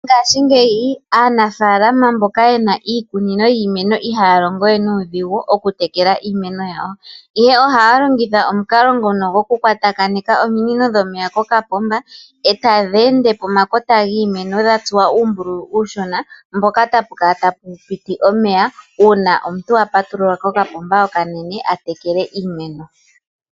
Ngaashingeyi aanafaalama mboka yena iikunino yiimeno ihaya longo we nuudhigu oku tekela iimeno yawo. Ihe ohaya longitha omukalo ngono gwoku kwatakanitha ominino dhomeya okuza koopomba etadhi ende pomakota giimeno dhatsuwa uumbululu uushona mpoka tapu kala tapu piti omeya uuma omuntu apatulula ko kambomba okanene a tekele iimeno.